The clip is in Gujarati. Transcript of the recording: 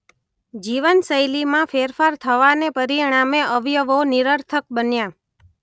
જીવનશૈલીમાં ફેરફાર થવાને પરિણામે અવયવો નિરર્થક બન્યા